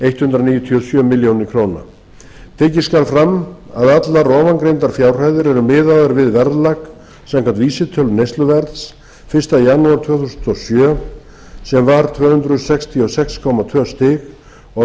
hundrað níutíu og sjö milljónir króna tekið skal fram að allar ofangreindar fjárhæðir eru miðaðar við verðlag samkvæmt vísitölu neysluverðs fyrsta janúar tvö þúsund og sjö sem var tvö hundruð sextíu og sex komma tvö stig og